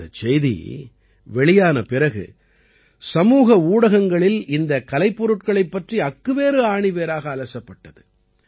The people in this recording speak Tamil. இந்தச் செய்தி வெளியான பிறகு சமூக ஊடகங்களில் இந்தக் கலைப்பொருட்களைப் பற்றி அக்குவேறு ஆணிவேறாக அலசப்பட்டது